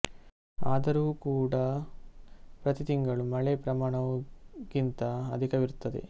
ಆದರೂ ಕೂಡಾ ಪ್ರತಿ ತಿಂಗಳು ಮಳೆ ಪ್ರಮಾಣವು ಗಿಂತ ಅಧಿಕವಿರುತ್ತದೆ